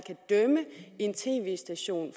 dømme en tv station